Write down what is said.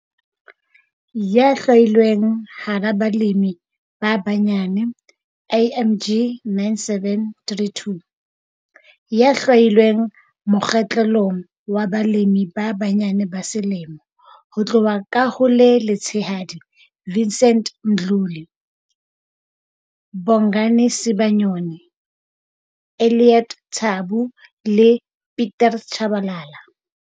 Ya hlwailweng hara balemi ba banyane IMG 9732- Ya hlwailweng mokgahlelong wa Balemi ba Banyane ba Selemo, ho tloha ka ho le letshehadi- Vincent Mdluli, ya hlwailweng, Bongani Sibanyoni, sehlohlolong, Elliot Tshabu, sehlohlolong, le Pieter Chabalala, mohlodi.